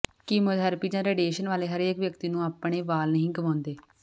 chemotherapy ਜਾਂ radiation ਵਾਲੇ ਹਰੇਕ ਵਿਅਕਤੀ ਨੂੰ ਆਪਣੇ ਵਾਲ ਨਹੀਂ ਗੁਆਉਂਦੇ